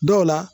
Dɔw la